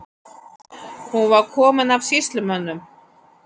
Hún var komin af sýslumönnum.